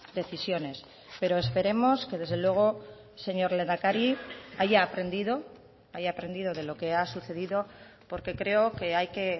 decisiones pero esperemos que desde luego señor lehendakari haya aprendido haya aprendido de lo que ha sucedido porque creo que hay que